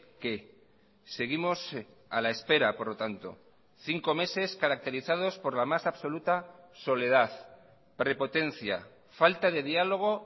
qué seguimos a la espera por lo tanto cinco meses caracterizados por la más absoluta soledad prepotencia falta de diálogo